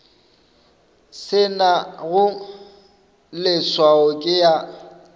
se nago leswao ke ya